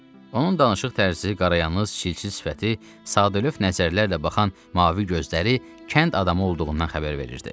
Onun danışıq tərzi, qarayanız, çilçil sifəti, sadəlövh nəzərlərlə baxan mavi gözləri kənd adamı olduğundan xəbər verirdi.